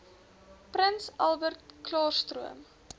prins albertklaarstroom